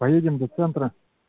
поедем до центра